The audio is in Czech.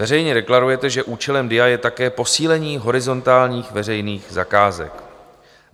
Veřejně deklarujete, že účelem DIA je také posílení horizontálních veřejných zakázek.